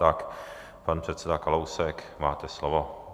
Tak, pane předsedo Kalousku, máte slovo.